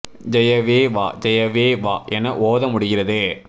ஜெய வே வா ஜெய வே வா என ஓத முடிகிறது